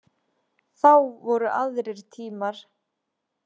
Þá voru aðrir tímar.